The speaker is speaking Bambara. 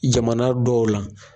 Jamana dɔw la.